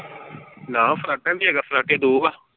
ਨਾ ਫਰਾਟਾ ਵੀ ਹੈਗਾ ਫਰਾਟੇ ਦੋ ਵਾ।